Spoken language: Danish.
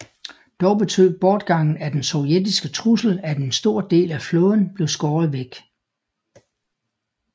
Dog betød bortgangen af den sovjetiske trussel at en stor del af flåden blev skåret væk